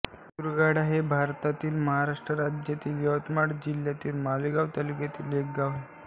दुर्गाडा हे भारतातील महाराष्ट्र राज्यातील यवतमाळ जिल्ह्यातील मारेगांव तालुक्यातील एक गाव आहे